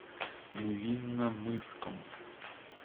невинномысском